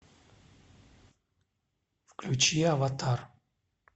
включи аватар